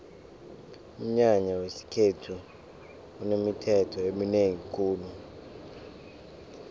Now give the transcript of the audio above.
umnyanya wesikhethu unemithetho eminengi khulu